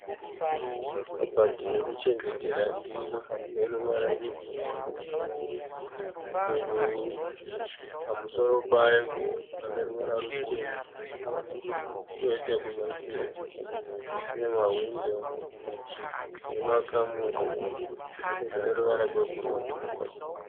Kabati yekuchengetera ndiro ineruvara rwebhurauni. Ipo pamusoro payo paneruvara rutema koita kumadziro kunemahwindo nemakamuri aneruvara gwebhurauni.